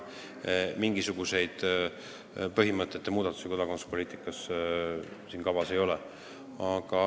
Mingisuguseid põhimõtete muudatusi kodakondsuspoliitikas kavas ei ole.